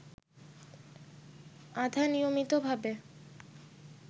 আধা-নিয়মিতভাবে